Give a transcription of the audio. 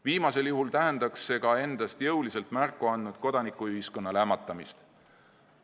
Viimasel juhul tähendaks see ka endast jõuliselt märku andnud kodanikuühiskonna lämmatamist.